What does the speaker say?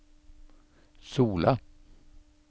Sola